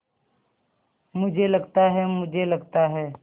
मुझे लगता है मुझे लगता है